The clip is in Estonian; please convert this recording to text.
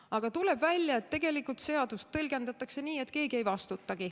Aga tuleb välja, et tegelikult seadust tõlgendatakse nii, et keegi ei vastuta.